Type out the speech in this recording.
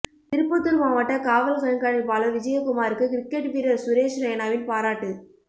திருப்பத்தூர் மாவட்ட காவல் கண்காணிப்பாளர் விஜயகுமாருக்கு கிரிக்கெட் வீரர் சுரேஷ் ரெய்னாவின் பாராட்டு